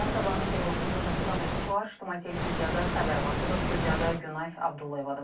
Bir daha sabahınız xeyir olsun, hörmətli tamaşaçılar, İctimai televiziyada xəbər vaxtıdır studiyada Günay Abdullayevadır.